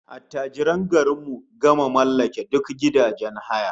Attajiran garin mu gama mallake duk gidajen haya